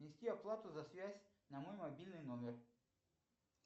внести оплату за связь на мой мобильный номер